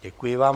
Děkuji vám.